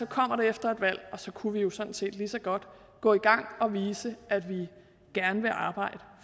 kommer det efter et valg og så kunne vi jo sådan set lige så godt gå i gang og vise at vi gerne vil arbejde